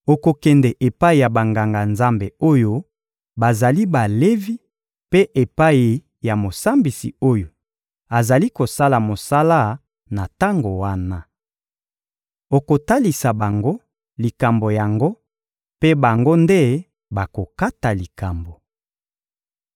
Okokende epai ya Banganga-Nzambe oyo bazali Balevi mpe epai ya mosambisi oyo azali kosala mosala na tango wana. Okotalisa bango likambo yango mpe bango nde bakokata likambo.